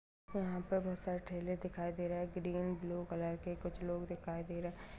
यहाँ पर बहुत सारे ठेले दिखाई दे रहे है ग्रीन ब्लू कलर के कुछ लोग दिखाई दे रहे --